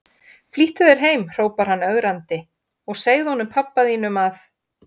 Flýttu þér heim hrópar hann ögrandi, og segðu honum pabba þínum að